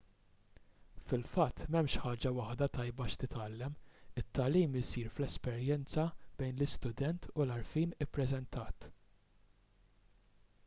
fil-fatt m'hemmx ħaġa waħda tajba x'titgħallem it-tagħlim isir fl-esperjenza bejn l-istudent u l-għarfien ippreżentat